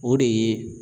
O de ye